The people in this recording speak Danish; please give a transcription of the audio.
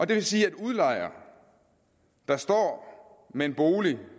det vil sige at en udlejer der står med en bolig